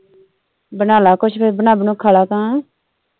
ਬਣਾਲਾ ਕੁਝ ਫਿਰ ਬਣਾ ਬਣੂ ਕੇ ਖਾਲਾ ਗਾ।